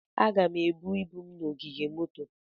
Aga m ebu ibu m na ogige moto.